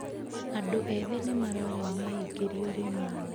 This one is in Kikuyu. Andũ ethĩ nĩ marorio meingĩrie ũrĩmi-inĩ.